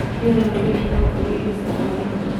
Rĩu we no wĩĩtĩe pĩlauĩkorwoĩrĩo cĩa hwaĩnĩ